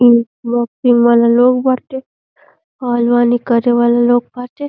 इ बॉक्सिंग वाला लोग बाटे। पहलवानी करे वाला लोग बाटे।